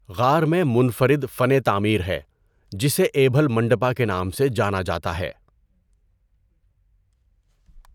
غار میں منفرد فن تعمیر ہے جسے ایبھل منڈپا کے نام سے جانا جاتا ہے۔